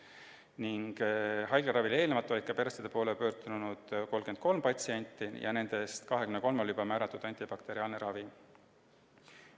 Enne haiglaravile tulekut oli arsti poole pöördunud 33 patsienti ja nendest 23-le oli juba määratud antibakteriaalne ravi.